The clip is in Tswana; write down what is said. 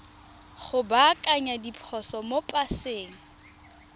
go baakanya diphoso mo paseng